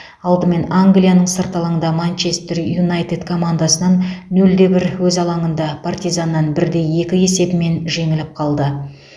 алдымен англияның сырт алаңда манчестер юнайтед командасынан нөл де бір өз алаңында партизаннан бір де екі есебімен жеңіліп қалды